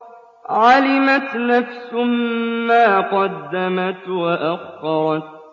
عَلِمَتْ نَفْسٌ مَّا قَدَّمَتْ وَأَخَّرَتْ